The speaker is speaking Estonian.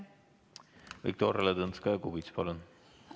Viktoria Ladõnskaja-Kubits, palun!